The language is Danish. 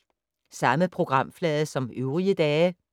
Samme programflade som øvrige dage